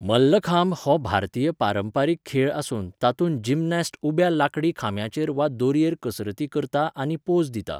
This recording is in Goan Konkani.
मल्लखांब हो भारतीय पारंपारीक खेळ आसून तातूंत जिमनास्ट उब्या लांकडी खांब्याचेर वा दोरयेर कसरती करता आनी पोज दिता.